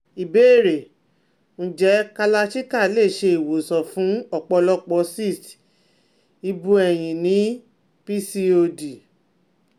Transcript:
Ìbéèrè: Nje Kalarchikai le se iwosan fun ọ̀pọ̀lopo cyst ibu eyin ni PCOD